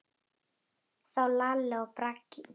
Þá Lalli og Bragi.